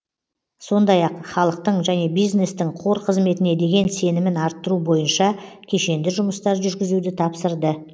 сондай ақ халықтың және бизнестің қор қызметіне деген сенімін арттыру бойынша кешенді жұмыстар жүргізуді тапсырды